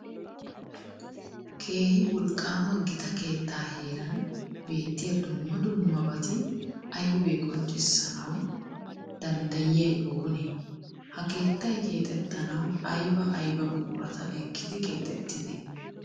Keehi wolqqaama gita keettaa heeran beettiya dumma dummaabati aybee qonccissanawu danddayiyay oonee? Ha keettay keexettanawu ayba ayba buqurata ekkidi keexettidee?